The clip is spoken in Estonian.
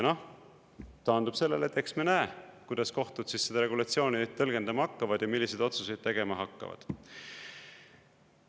Noh, taandub sellele, et eks me näe, kuidas kohtud seda regulatsiooni tõlgendama hakkavad ja milliseid otsuseid tegema hakkavad.